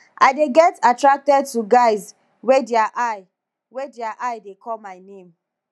i dey get attracted to guys wey their eye wey their eye dey call my name